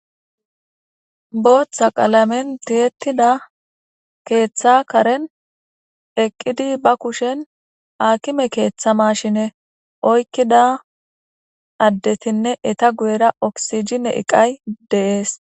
booththa qalamen tiyettida keeththa karen eqqidi ba kushen aakime keeththa mashine oykkida addetinne eta guyera oksijime iqay de'ees